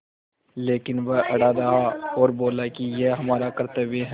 लेकिन वह अड़ा रहा और बोला कि यह हमारा कर्त्तव्य है